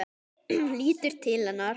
Lítur til hennar.